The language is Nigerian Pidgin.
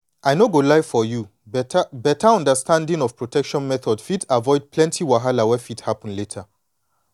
i no go lie for you beta beta understanding of protection method fit avoid plenty wahala wey fit happen later.